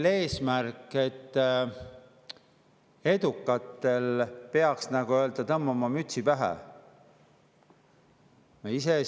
Kas eesmärk on see, et edukatele peaks tõmbama mütsi pähe?